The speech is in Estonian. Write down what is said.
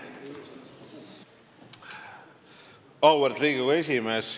Auväärt Riigikogu esimees!